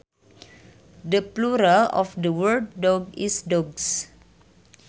The plural of the word dog is dogs